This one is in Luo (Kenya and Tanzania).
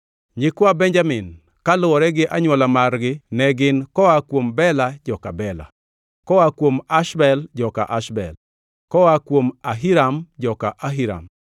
Nyikwa Benjamin kaluwore gi anywola margi ne gin: koa kuom Bela, joka Bela; koa kuom Ashbel, joka Ashbel; koa kuom Ahiram, joka Ahiram;